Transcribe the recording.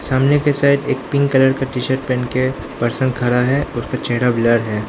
सामने के साइड एक पिंक कलर का टी शर्ट पहन के पर्सन खड़ा है उसका चेहरा ब्लर है।